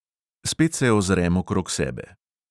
Spet se ozrem okrog sebe.